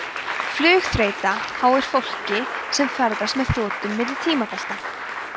flugþreyta háir fólki sem ferðast með þotum milli tímabelta